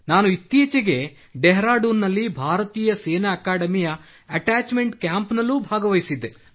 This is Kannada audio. ನಾನು ಇತ್ತೀಚೆಗೆ ಡೆಹರಾಡೂನ್ ನಲ್ಲಿ ಭಾರತೀಯ ಸೇನಾ ಅಕಾಡೆಮಿಯ ಅಟ್ಯಾಚ್ಮೆಂಟ್ ಕ್ಯಾಂಪ್ನಲ್ಲಿ ಭಾಗವಹಿಸಿದ್ದೆ